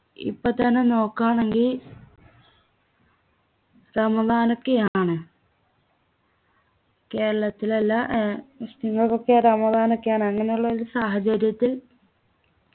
ഇപ്പൊ തന്നെ നോക്കാമെങ്കി റമളാൻ ഒക്കെ ആണ് കേരളത്തിലെല്ലാ ഏർ മുസ്ലിംകൾക്കൊക്കെ റമളാൻ ഒക്കെ ആണ് അങ്ങനുള്ളൊരു സാഹചര്യത്തിൽ